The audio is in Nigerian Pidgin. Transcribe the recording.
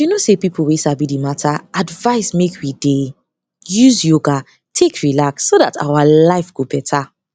you know say pipo wey sabi di matter advise make we dey use yoga take relax so dat our life go beta